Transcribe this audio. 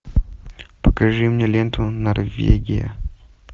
покажи мне ленту норвегия